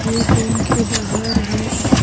ये बैंक के बाहर है।